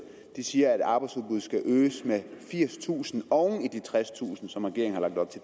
siger at arbejdsudbuddet skal øges med firstusind oven i de tredstusind som regeringen har lagt